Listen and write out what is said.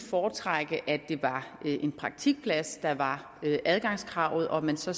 foretrække at det var en praktikplads der var adgangskravet og at man så